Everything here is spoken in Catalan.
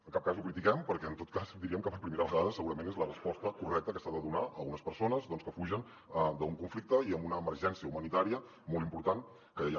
en cap cas ho critiquem perquè en tot cas diríem que per primera vegada segurament és la resposta correcta que s’ha de donar a unes persones que fugen d’un conflicte i amb una emergència humanitària molt important que hi ha